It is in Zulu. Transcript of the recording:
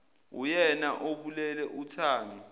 uyena obulele uthami